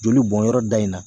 Joli bɔnyɔrɔ da in na